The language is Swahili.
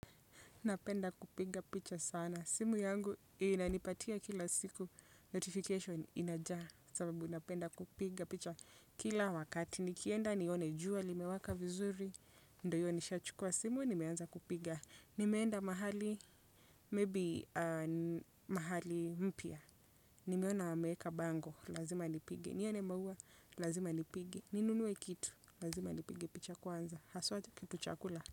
Napenda kupiga picha sana. Simu yangu inanipatia kila siku. Notification inajaa sababu napenda kupiga picha kila wakati. Nikienda nione jua limewaka vizuri, ndiyo hiyo nishachukua simu nimeanza kupiga. Nimeenda mahali, maybe mahali mpya. Nimeona wameweka bango, lazima nipige. Nione maua, lazima nipige. Ninunue kitu, lazima nipige picha kwanza. Haswa kitu cha kula.